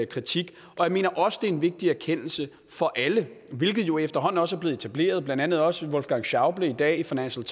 kritik og jeg mener også det er en vigtig erkendelse for alle hvilket jo efterhånden også er blevet etableret blandt andet også af wolfgang schäuble i dag i financial